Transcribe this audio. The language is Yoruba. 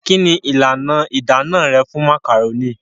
Kí ni ìlànà ìdáná rẹ fún màkàrónì?